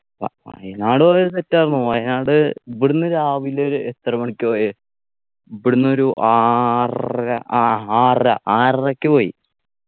വ വയനാട് പോയത് set ആർന്നു വയനാട് ഇവിടുന്ന് രാവിലെ ഒരു എത്ര മണിക്ക പോയേ ഇവിടുന്നൊരു ആറര ആഹ് ആറര ആറരയ്ക്ക് പോയി